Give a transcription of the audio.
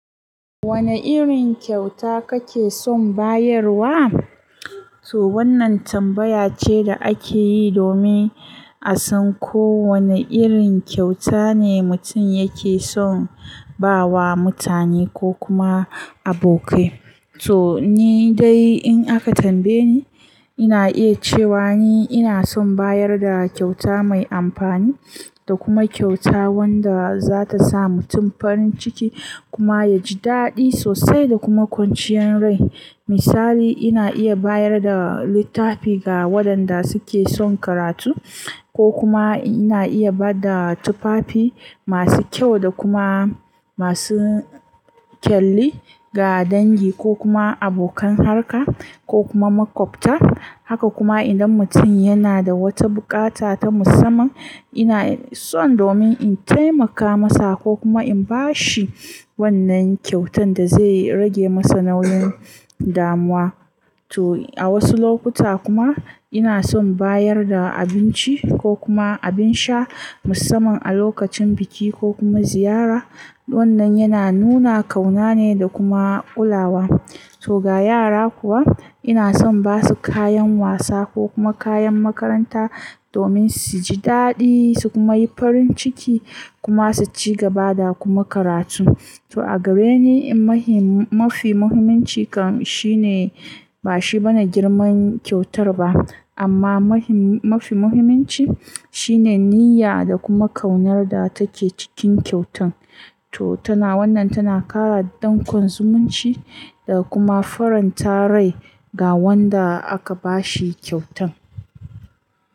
Wane irin kyauta kake son bayarwa? To wannan tambaya ce da ake yi domin a san ko wane irin kyauta ne mutum yake son ba wa mutane ko kuma abokai. To ni dai in aka tambaye ni, ina iya cewa ni ina son bayar da kyauta mai amfani da kuma kyauta wadda zata sa mutum farin ciki kuma ya ji daɗi sosai da kuma kwanciyar rai. Misali ina iya bayar da littafi ga waɗanda suke son karatu ko kuma ina iya ba da tufafi masu kyau da kuma masu kyalli ga dangi ko kuma abokan harka ko kuma maƙwabta. Haka kuma idan mutum yana da wata buƙata ta musamman, ina son domin in taimaka masa ko kuma in ba shi wannan kyautan da zai rage masa nauyin damuwa. To a wasu lokuta kuma ina son bayar da abinci ko kuma abin sha musamman a lokacin biki ko kuma ziyara. Wannan yana nuna ƙauna ne da kuma ƙula wa. To ga yara kuwa ina son ba su kayan wasa ko kuma kayan makaranta domin su ji daɗi su kuma yi farin ciki kuma su ci gaba da kuma karatu. To a gare ni mahim-- mafi muhimmanci kan shine ba shi bane girman kyautar ba amma mahim-- mafi muhimmanci shine niyya da kuma ƙaunar da take cikin kyautan. To tana wannan tana ƙara ɗankon zumunci da kuma faranta rai ga wanda aka ba shi kyautan.